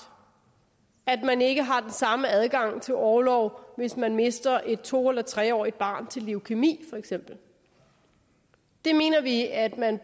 at man ikke har den samme adgang til orlov hvis man mister et to eller tre årig t barn til leukæmi for eksempel det mener vi at man